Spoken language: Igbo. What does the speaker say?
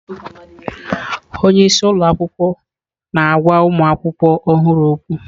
Onye isi ụlọ akwụkwọ na-agwa ụmụ akwụkwọ ọhụrụ okwu.